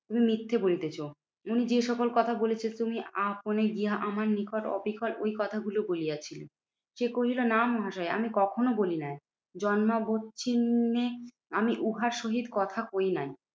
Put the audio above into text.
তুমি মিথ্যে বলিতেছ। উনি যে সকল কথা বলেছেন তুমি আপনে গিয়া আমার নিকট অবিকল ওই কথাগুলো বলিয়াছিলে। সে কহিল, না মহাশয় আমি কখনো বলি নাই জন্মাবোচ্ছিন্নে আমি উহার সহিত কথা কই নাই।